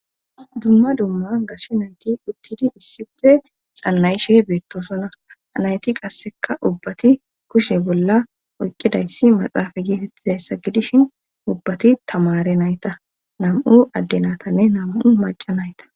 dumma dumma gashshe nayti uttidi issife xannayishe beettosona havnayti qasseka ubbati kushe bolla oyqqidayssi maxaafa geetettizayssa gidishin ubbati tamare nayta nam'u addenatanne nam'u maca nayta